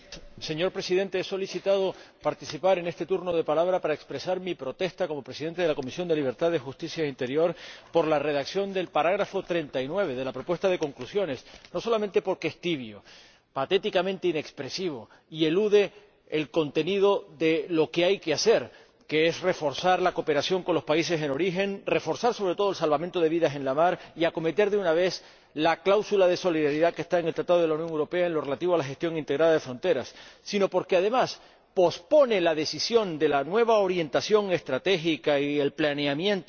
Señor Presidente, he solicitado participar en este turno de palabra para expresar mi protesta, como Presidente de la Comisión de Libertades Civiles, Justicia y Asuntos de Interior, por la redacción del apartado 39 de la propuesta de conclusiones, no solamente porque es tibio, patéticamente inexpresivo, y porque elude referirse a lo que hay que hacer, que es reforzar la cooperación con los países de origen, reforzar, sobre todo, el salvamento de vidas en el mar y aplicar, de una vez, la cláusula de solidaridad que está en el Tratado de la Unión Europea en lo relativo a la gestión integrada de fronteras, sino porque, además, pospone la decisión de la nueva orientación estratégica y la planificación